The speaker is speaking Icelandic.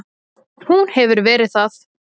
Hún hefur verið það.